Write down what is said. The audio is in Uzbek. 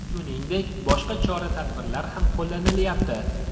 Shuningdek, boshqa chora-tadbirlar ham qo‘llanilyapti.